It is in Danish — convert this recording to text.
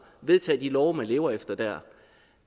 og vedtage de love man lever efter der